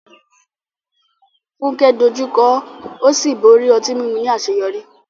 Funke dojú kọ ó sì borí ọtí mímu ní àṣeyọrí.